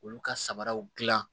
Olu ka samaraw dilan